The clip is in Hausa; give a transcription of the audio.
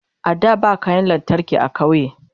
a da ba kayan lantarki a ƙauye